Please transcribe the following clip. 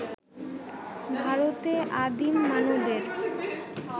ভারতে আদিম মানবের